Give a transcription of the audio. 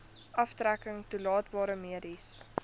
aftrekking toelaatbare mediese